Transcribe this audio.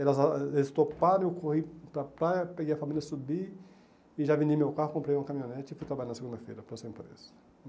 Eles toparam, eu corri para a praia, peguei a família, subi e já vendi meu carro, comprei uma caminhonete e fui trabalhar na segunda-feira para o emprego.